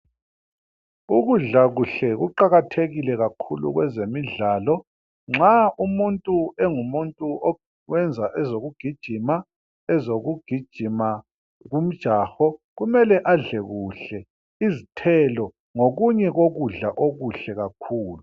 Ukudla kuhle kuqakathekile kakhulu kwezemidlalo. Nxa umuntu engumuntu oyenza ezokugijima ,ezokugijima kumjaho .Kumele adle kuhle ,izithelo ngokunye kokudla okuhle kakhulu.